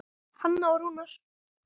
Hanna og Rúnar.